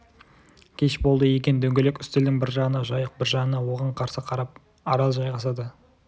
кеш болды екен дөңгелек үстелдің бір жағына жайық бір жағына оған қарсы қарап арал жайғасады